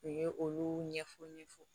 U ye olu ɲɛfɔ ɲɛfɔ